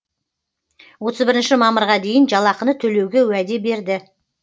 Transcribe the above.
отыз бірінші мамырға дейін жалақыны төлеуге уәде берді